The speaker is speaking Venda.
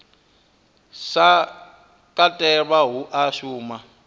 sa katelwa hu a shuma